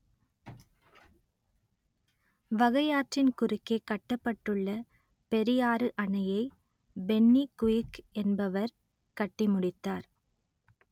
வகையாற்றின் குறுக்கே கட்டப்பட்டுள்ள பெரியாறு அணையை பென்னி குயிக் என்பவர் கட்டிமுடித்தார்